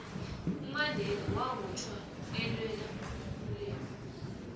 umandela wabotjhwa alwela ikululeko